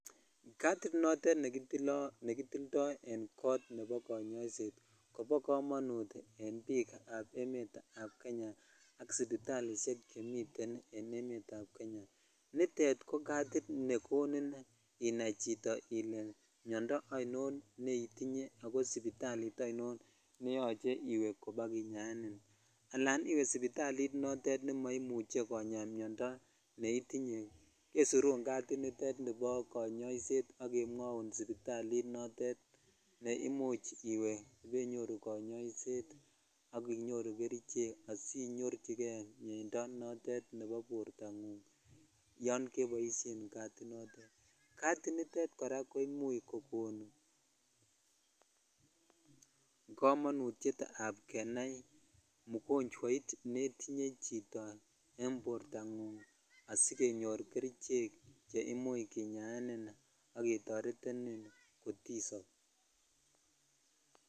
Katit notet nekitilitoi en kot nebo konyoiset kobo kamonut en biik ab emet ab Kenya ak sipitalishek chhemiten en emet ab Kenya nutet ko katit nekoni inai chito ile miondoo ainot neitinye ako imuch iwe sipitalit ainon neyoche iwee kobakinyaenin akan iwee sipitalit ne imuch komainya miondoo neitinye kesirun katit nitet nibo konyoiset ak kemwoun sipitalit notet ne imuch iwee ibainyoru konyoishet ak inyoru kerichek asinyoichhikei mieindo notet nebo bortangung yon keboishen kati notet kati nitet ko imuch kokonkamonutietvab kenai mukonchhwait netinye chito en bortangung asikenyoru kerichek che imuch kinyaeninak ketoretenin kotisob.